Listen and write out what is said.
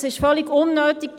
Es ist völlig unnötig.